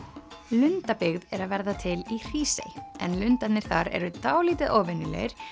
lundabyggð er að verða til í Hrísey en lundarnir þar eru dálítið óvenjulegir